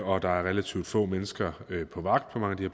og der er relativt få mennesker på vagt på mange af de